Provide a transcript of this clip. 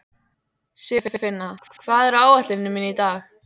Sigurfinna, hvað er á áætluninni minni í dag?